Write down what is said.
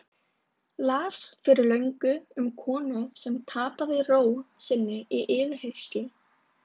Las fyrir löngu um konu sem tapaði ró sinni í yfirheyrslu.